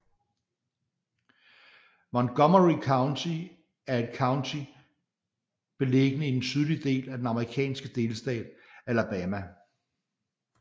Montgomery County er et county beliggende i den sydlige del af den amerikanske delstat Alabama